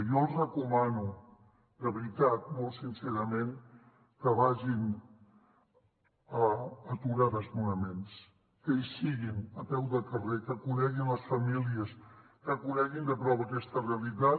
jo els recomano de veritat molt sincerament que vagin a aturar desnonaments que hi siguin a peu de carrer que coneguin les famílies que coneguin de prop aquesta realitat